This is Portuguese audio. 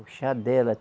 O chá dela.